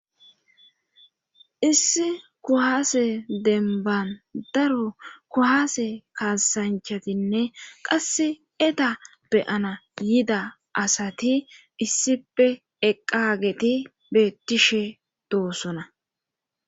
issi kuhaase denban daro kuhaase kaasanchatinne qass eda beyana yida asati issipe eqqageti beettishe doosona